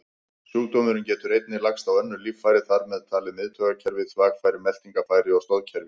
Sjúkdómurinn getur einnig lagst á önnur líffæri, þar með talið miðtaugakerfi, þvagfæri, meltingarfæri og stoðkerfi.